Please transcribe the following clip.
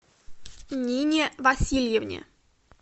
нине васильевне